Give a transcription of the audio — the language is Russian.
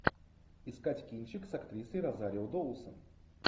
искать кинчик с актрисой розарио доусон